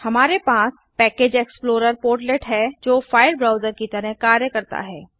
हमारे पास package explorer portlet है जो फाइल ब्राउजर की तरह कार्य करता है